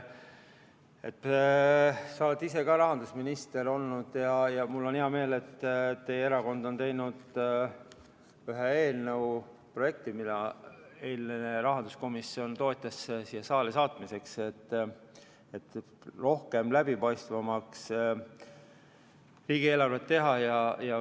Sa oled ise ka rahandusminister olnud ja mul on hea meel, et teie erakond on teinud ühe eelnõu projekti, mida eile rahanduskomisjon toetas, et teha riigieelarve läbipaistvamaks.